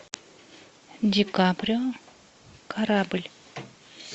ди каприо корабль